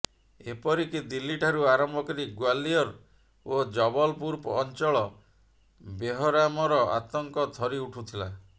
ଏପରିକି ଦିଲ୍ଲୀ ଠାରୁ ଆରମ୍ଭ କରି ଗ୍ୱାଲିୟର ଓ ଜବଲପୁର ଅଞ୍ଚଳ ବେହରାମର ଆତଙ୍କ ଥରିଉଠୁଥିଲା